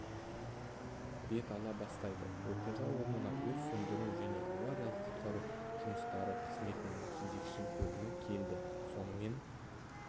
бет ала бастайды оқиға орнына өрт сөндіру және авариялық-құтқару жұмыстары қызметінің кезекші бөлімі келді сонымен